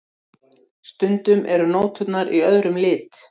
Stundum eru nóturnar í öðrum lit.